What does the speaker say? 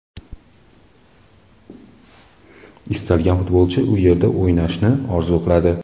Istalgan futbolchi u yerda o‘ynashni orzu qiladi.